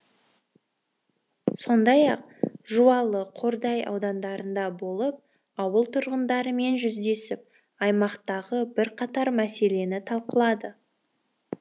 сондай ақ жуалы қордай аудандарында болып ауыл тұрғындарымен жүздесіп аймақтағы бірқатар мәселені талқылады